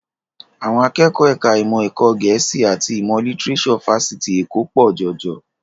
Àwọn akẹ́kọ̀ọ́ ẹ̀ka ìmọ̀ ẹ̀kọ́ Gẹ̀ẹ́sì àti ìmọ̀ lítíréṣọ̀ Fáṣitì Èkó pọ̀ jọjọ